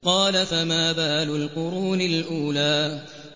قَالَ فَمَا بَالُ الْقُرُونِ الْأُولَىٰ